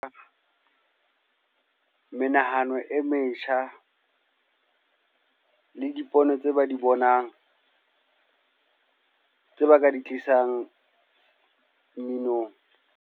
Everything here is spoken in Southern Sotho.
Menahano e metjha le dipono tse ba di bonang, tse ba ka di tlisang mminong.